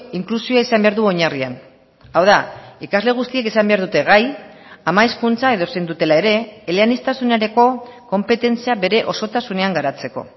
inklusioa izan behar du oinarrian hau da ikasle guztiek izan behar dute gai ama hizkuntza edozein dutela ere eleaniztasunerako konpetentzia bere osotasunean garatzeko